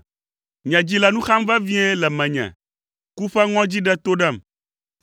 Nye dzi le nu xam vevie le menye; ku ƒe ŋɔdzi ɖe to ɖem.